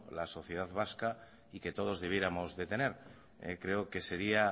la sociedad vasca y que todos debiéramos de tener creo que seria